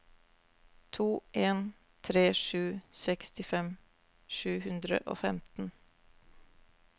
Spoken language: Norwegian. to en tre sju sekstifem sju hundre og femten